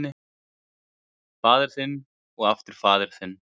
Faðir þinn og aftur faðir þinn.